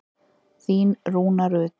Þín Rúna Rut.